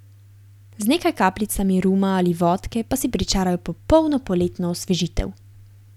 Z nekaj kapljicami ruma ali vodke pa si pričarajo popolno poletno osvežitev.